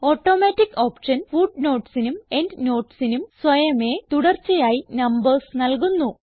automatic option footnotesനും endnotesനും സ്വയമേ തുടർച്ചയായി നംബർസ് നൽകുന്നു